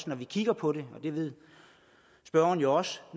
når vi kigger på det og det ved spørgeren også